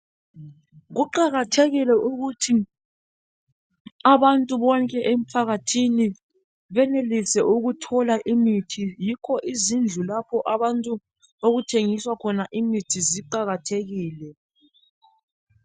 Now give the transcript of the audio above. Kuqakathekile ukuthi abantu bonke emphakathini benelise ukuthola imithi yikho izindlu lapho abantu okuthengiswa khona imithi ziqakathekile.